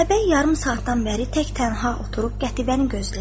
Atabəy yarım saatdan bəri tək tənha oturub Qətibəni gözləyirdi.